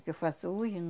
que eu faço hoje,